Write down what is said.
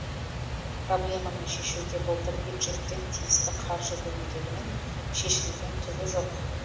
проблеманы шешуге былтыр бюджеттен тиісті қаржы бөлінгенімен шешілген түгі жоқ